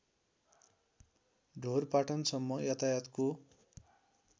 ढोरपाटन सम्म यातायातको